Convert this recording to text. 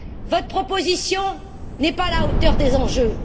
Votre proposition n'est pas à la hauteur des enjeux.